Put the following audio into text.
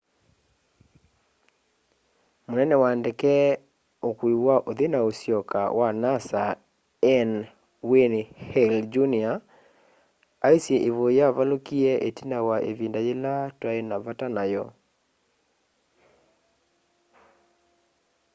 munene wa ndeke ukui wa uthi na usyoka wa nasa n wayne hale jr aisye ivuyu yavalukie itina wa ivinda yila twai na vata nayo